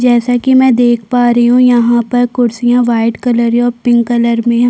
जैसा कि मैं देख पा रही हूं यहाँ पर कुर्सिया व्हाइट कलर और पिंक कलर में ह--